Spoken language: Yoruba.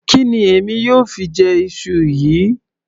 Kí ni èmi yóò fi jẹ iṣu yìí